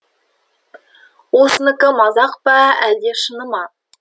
осыныкі мазақ па әлде шыны ма